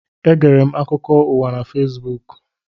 Egere m akụkọ ụwa na Fesbuku.